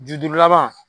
Ju duuru laban